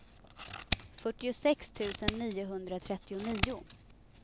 fyrtiosex tusen niohundratrettionio